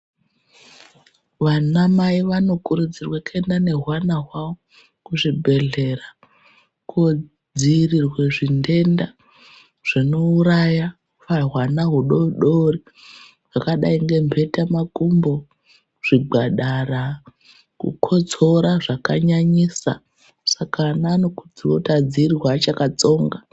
Vana mai vano kurudzirwe kuenda ne hwana hwawo ku zvibhedhlera ko dzivirirwe zvi ndenda zvino uraya hwana hudodori zvakadai nge mbeta makumbo zvigwadara ku kotsora zvaka nyanyisa saka ana anokurudzirwa kuti adzivirirwe akacha tsonga.